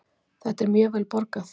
Þetta er mjög vel borgað